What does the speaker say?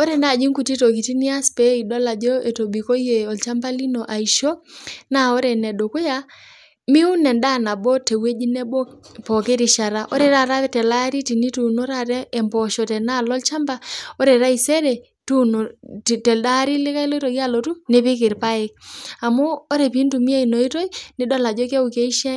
Ore naaji nkuti tokitin niñas peyie idol ajo etobikoiye ilchamba lino aisho naa ore ene dukuya, miwun enfaa nabo te wueji nabo pooki rishata, ore taata te ale ilari tenituuno emposho tenealo ilchamba, ore taisere tuuno te alde ilari likae logira alotu nipikk irpaek amuu ore piintumiya ina oitoi nidol ajo keaku keisho